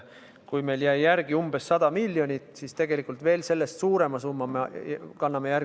Meil jäi praegu järele umbes 100 miljonit, aga järgmisel aastal anname sellest veel suurema summa haigekassale juurde.